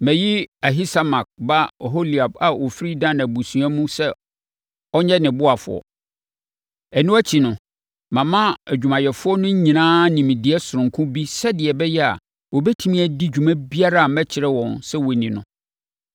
Mayi Ahisamak ba Oholiab a ɔfiri Dan abusua mu sɛ ɔnyɛ ne ɔboafoɔ. “Ɛno akyi no, mama adwumayɛfoɔ no nyinaa nimdeɛ sononko bi sɛdeɛ ɛbɛyɛ a, wɔbɛtumi adi dwuma biara a mɛkyerɛ wɔn sɛ wɔnni no: